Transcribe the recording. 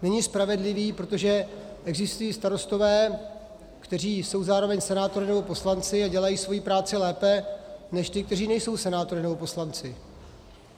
Není spravedlivý, protože existují starostové, kteří jsou zároveň senátory nebo poslanci a dělají svoji práci lépe než ti, kteří nejsou senátory nebo poslanci.